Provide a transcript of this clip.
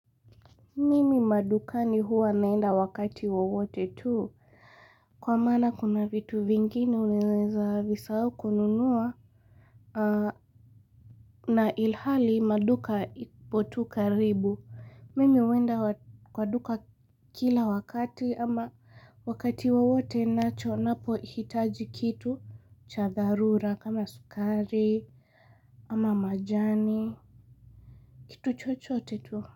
Mimi madukani huwa naenda wakati wowote tuu Kwa maana kuna vitu vingine unaweza visahau kununua na ilhali maduka ipotu karibu Mimi huenda kwa duka kila wakati ama wakati wowote nacho napo hitaji kitu cha dharura kama sukari ama majani kitu chochote tuu.